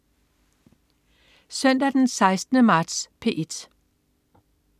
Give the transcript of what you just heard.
Søndag den 16. marts - P1: